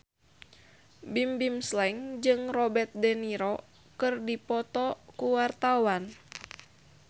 Bimbim Slank jeung Robert de Niro keur dipoto ku wartawan